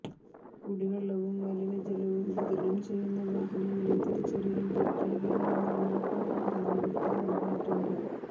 കുടിവെള്ളവും മലിനജലവും വിതരണം ചെയ്യുന്ന വാഹനങ്ങളെ തിരിച്ചറിയാൻ പ്രത്യേക നിറങ്ങൾ മോട്ടോർ വാഹനവകുപ്പ് നൽകിയിട്ടുണ്ട്